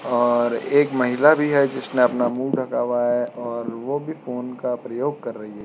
और एक महिला भी है जिसने अपना मुँह ढका हुआ है और वो भी फ़ोन का प्रयोग कर रही है।